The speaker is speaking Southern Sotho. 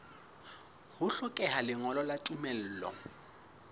ho hlokeha lengolo la tumello